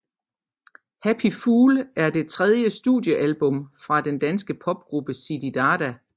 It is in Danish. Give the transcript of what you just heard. Happy Fool er det tredje studiealbum fra den danske popgruppe Zididada